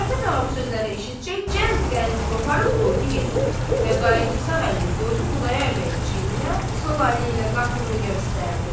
Karapet ağa bu sözləri eşitcək cəld qəndi qoparıb qoydu yerinə və qayıdıb sağ əlini qoydu Xudayar bəyin çiyininə, sol əli ilə qapını göstərdi.